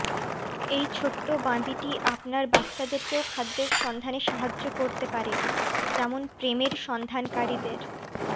এই ছোট্ট বাঁদীটি আপনার বাচ্চাদেরকেও খাদ্যের সন্ধানে সাহায্য করতে পারে যেমন প্রেমের সন্ধানকারীদের